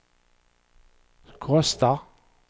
kostar